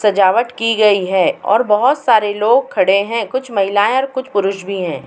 सजावट की गयी है और बहोत सारे लोग खड़े हैं। कुछ महिलायें कुछ पुरुष भी हैं।